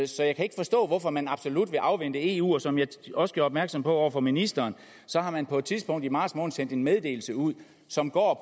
så jeg kan ikke forstå hvorfor man absolut vil afvente eu som jeg også gjorde opmærksom på over for ministeren har man på et tidspunkt i marts måned sendt en meddelelse ud som går